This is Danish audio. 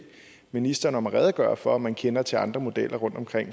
ministeren om at redegøre for om man kender til andre modeller rundtomkring